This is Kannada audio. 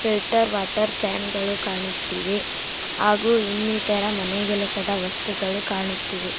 ಫಿಲ್ಟರ್ ವಾಟರ್ ಕ್ಯಾನ್ ಗಳು ಕಾಣುತ್ತಿವೆ ಹಾಗು ಇನ್ನಿತರ ಮನೆಗೆಲಸದ ವಸ್ತುಗಳು ಕಾಣುತ್ತಿವೆ.